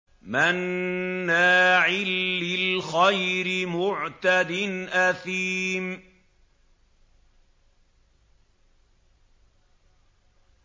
مَّنَّاعٍ لِّلْخَيْرِ مُعْتَدٍ أَثِيمٍ